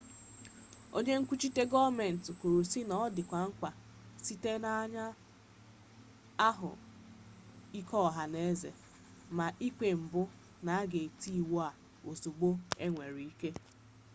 onye nkwuchite goomenti kwuru si na o dikwazi mkpa site na anya ahu ike oha n'eze ma ikpe mpu na aga eti iwu a ozugbo enwere ike